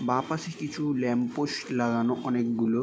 বাঁ পাশে কিছু ল্যাম্প পোস্ট লগানো অনকে গুলো।